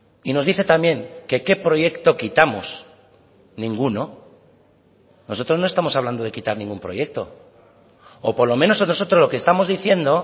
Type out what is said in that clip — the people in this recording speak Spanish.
y nos dice también que qué proyecto quitamos ninguno nosotros no estamos hablando de quitar ningún proyecto o por lo menos nosotros lo que estamos diciendo